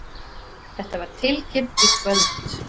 Þetta var tilkynnt í kvöld